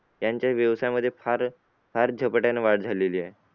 त्यांचा व्यवसायामध्ये फार फार झपाट्याने वाढ झालेली आहे.